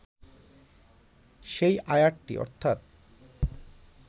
সেই আয়াতটি অর্থাৎ